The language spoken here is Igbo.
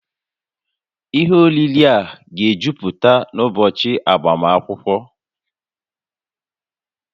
Ihe oriri a ga-ejuputa n'ụbọchị agbamakwụkwọ?